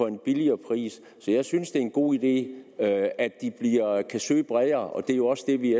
en billigere pris så jeg synes det er en god idé at de kan søge bredere og det er jo også det vi